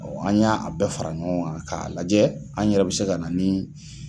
Ɔ an y'a a bɛɛ fara ɲɔgɔn kan k'a lajɛ, an yɛrɛ bɛ se ka na ni